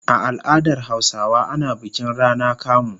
A al'adar Hausawa ana bikin rana kamu.